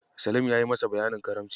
Salim yayi masa bayanin Karamci.